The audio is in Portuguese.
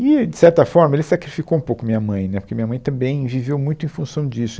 E, de certa forma, ele sacrificou um pouco minha mãe, né, porque minha mãe também viveu muito em função disso.